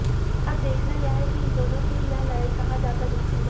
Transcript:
अब देखना यह है कि इन दोनों की यह लड़ाई कहां जाकर रुकती है